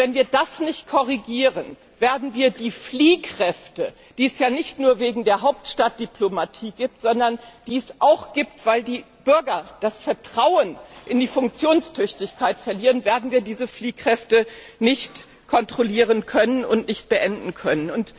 Wenn wir das nicht korrigieren, werden wir die Fliehkräfte, die es ja nicht nur wegen der Hauptstadtdiplomatie gibt, sondern die es auch gibt, weil die Bürger das Vertrauen in die Funktionstüchtigkeit verlieren, nicht kontrollieren und nicht beenden können.